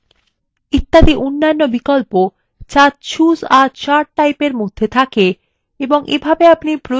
এবং অনেক অন্যান্য বিকল্প যা choose a chart typeএর মধ্যে থাকে এবং প্রয়োজনীয় chart পেতে পারেন